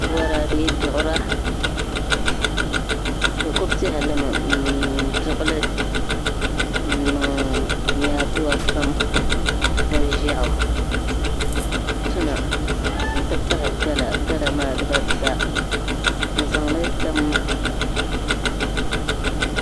Boraadɛ duɣura bi ku pihalimi n Duɣuli n niŋ nyaaduwa kpam kpa ʒiɛɣu tuna n ti pahi gala gala maa dibata n zaŋ li tam